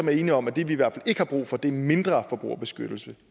er enige om at det vi i hvert ikke har brug for er mindre forbrugerbeskyttelse